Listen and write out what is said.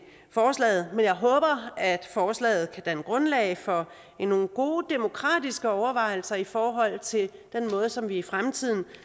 forslaget men jeg håber at forslaget kan danne grundlag for nogle gode demokratiske overvejelser i forhold til den måde som vi i fremtiden